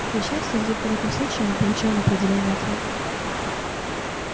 к несчастью только в этом случае мы получаем определённый ответ